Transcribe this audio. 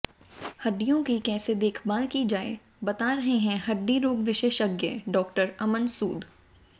हड्डियों की कैसे देखभाल की जाये बता रहे हैं हड्डी रोग विशेषज्ञ डा़ अमन सूद